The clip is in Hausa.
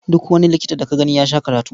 Duk wani likita da ka gani ya sha karatu.